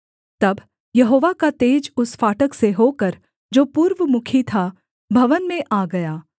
तब यहोवा का तेज उस फाटक से होकर जो पूर्वमुखी था भवन में आ गया